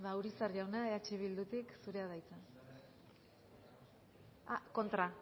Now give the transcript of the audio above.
urizar jauna eh bildutik zurea da hitza